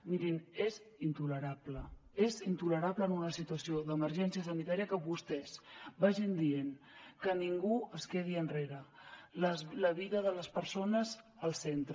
mirin és intolerable és intolerable en una situació d’emergència sanitària que vostès vagin dient que ningú es quedi enrere la vida de les persones al centre